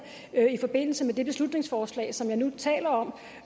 i forbindelse med det beslutningsforslag som jeg nu taler om